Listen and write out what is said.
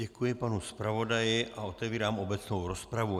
Děkuji panu zpravodaji a otevírám obecnou rozpravu.